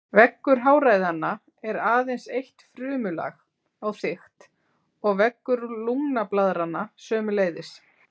Veggur háræðanna er aðeins eitt frumulag á þykkt og veggur lungnablaðranna sömuleiðis.